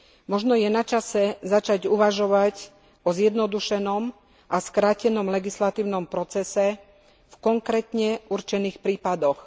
Možno je načase začať uvažovať o zjednodušenom a skrátenom legislatívnom procese v konkrétne určených prípadoch.